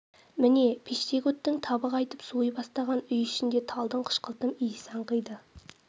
міне пештегі оттың табы қайтып суи бастаған үй ішінде талдың қышқылтым иіс аңқиды